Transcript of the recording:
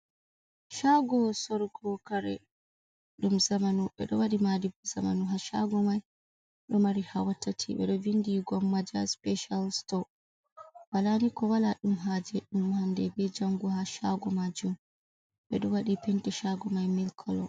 Shago sorugo kare dum zamanu ,bedowadi mahadi zamanu ha shago mai do mari hawatati, bedo vindi gomaja special store walani ko wala dum hajedumhande be jango ha shago ma jum bedo wadi penti shago mai milkcolor.